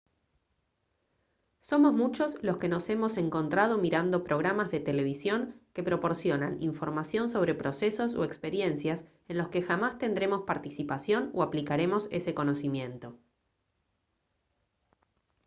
somos muchos los que nos hemos encontrado mirando programas de televisión que proporcionan información sobre procesos o experiencias en los que jamás tendremos participación o aplicaremos ese conocimiento